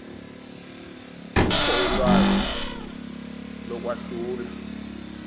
kukho ulwazi lokwahlula